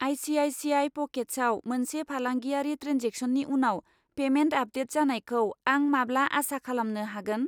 ICICI. प'केट्सआव मोनसे फालांगियारि ट्रेन्जेक्सननि उनाव पेमेन्ट आपडेट जानायखौ आं माब्ला आसा खालामनो हागोन?